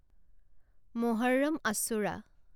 Muharram Ashura